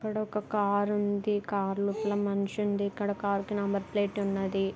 ఇక్కడ ఒక కార్ ఉంది. కార్ లోపల మనిషి ఉంది. ఇక్కడ కార్ కి నెంబర్ ప్లేట్ ఉన్నది.